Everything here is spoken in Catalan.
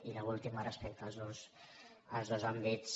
i l’última respecte als dos àmbits